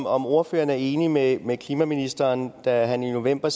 om ordføreren er enig med med klimaministeren der i november